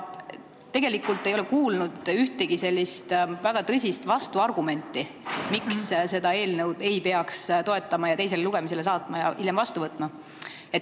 Tegelikult ei ole ma kuulnud ühtegi väga tõsist vastuargumenti, miks seda eelnõu ei peaks toetama, teisele lugemisele saatma ja hiljem seadusena vastu võtma.